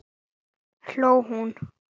hló hún.